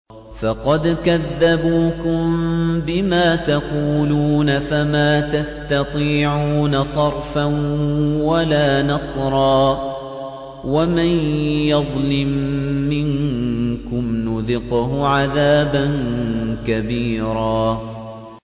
فَقَدْ كَذَّبُوكُم بِمَا تَقُولُونَ فَمَا تَسْتَطِيعُونَ صَرْفًا وَلَا نَصْرًا ۚ وَمَن يَظْلِم مِّنكُمْ نُذِقْهُ عَذَابًا كَبِيرًا